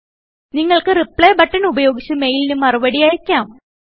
നിങ്ങൾക്ക് reply button ഉപയോഗിച്ച് മെയിലിന് മറുപടി അയ്ക്കാം